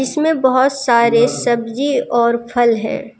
इसमें बहोत सारे सब्जी और फल है।